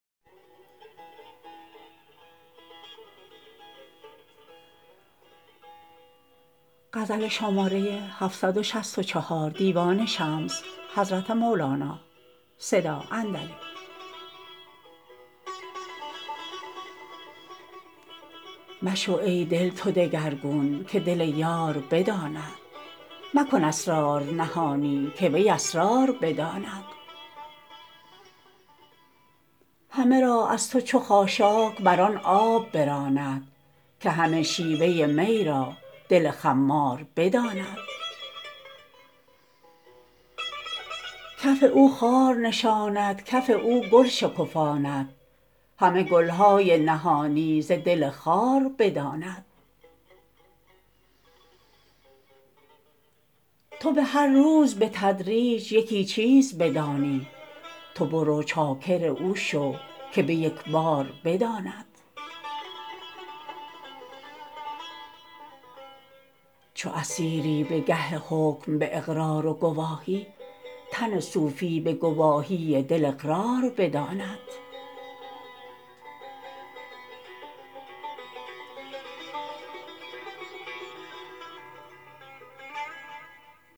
مشو ای دل تو دگرگون که دل یار بداند مکن اسرار نهانی که وی اسرار بداند همه را از تو چو خاشاک بر آن آب براند که همه شیوه می را دل خمار بداند کف او خار نشاند کف او گل شکفاند همه گل های نهانی ز دل خار بداند تو به هر روز به تدریج یکی چیز بدانی تو برو چاکر او شو که به یک بار بداند چو اسیری به گه حکم به اقرار و گواهی تن صوفی به گواهی دل اقرار بداند